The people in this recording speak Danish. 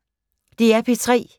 DR P3